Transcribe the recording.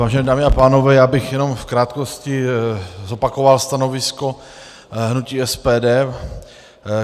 Vážené dámy a pánové, já bych jenom v krátkosti zopakoval stanovisko hnutí SPD.